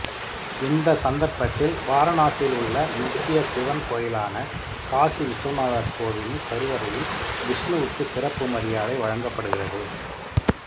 இந்த சந்தர்ப்பத்தில் வாரணாசியில் உள்ள முக்கிய சிவன் கோவிலான காசி விசுவநாதர் கோவிலின் கருவறையில் விஷ்ணுவுக்கு சிறப்பு மரியாதை வழங்கப்படுகிறது